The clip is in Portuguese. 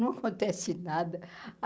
Não acontece nada.